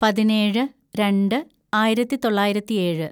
പതിനേഴ് രണ്ട് ആയിരത്തിതൊള്ളായിരത്തി ഏഴ്‌